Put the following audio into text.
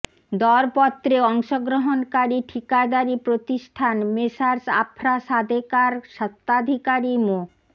দরপত্রে অংশগ্রহণকারী ঠিকাদারি প্রতিষ্ঠান মেসার্স আফরা সাদেকার স্বত্বাধিকারী মো